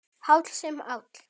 Háll sem áll.